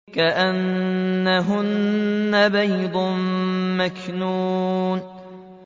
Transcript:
كَأَنَّهُنَّ بَيْضٌ مَّكْنُونٌ